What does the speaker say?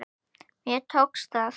Þér tókst það!